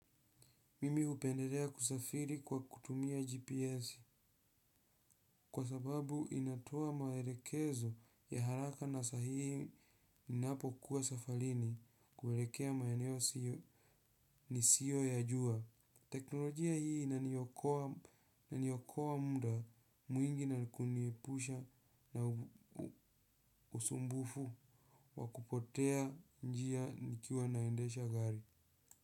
Mimi hupendelea kusafiri kwa kutumia GPS kwa sababu inatoa maelekezo ya haraka na sahihi ninapo kuwa safarini kuelekea maeneo siyo nisiyo yajua. Teknolojia hii inaniokoa muda mwingi na kuniepusha na usumbufu wa kupotea njia nikiwa naendesha gari.